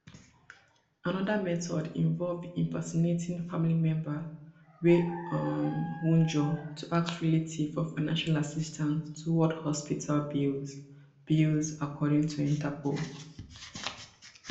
anoda method involve impersonating family member wey um wunjure to ask relatives for financial assistance towards hospital bills bills according to interpol